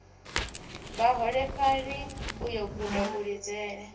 vhaholefhali u yo guda kulidzele